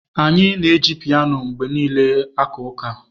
Anyị na-eji piano mgbe niile aka ụka.